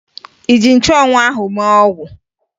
Ị ji nchụanwụ ahụ mee ọgwụ?